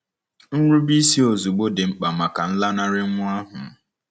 Nrubeisi ozugbo dị mkpa maka nlanarị nwa ahụ.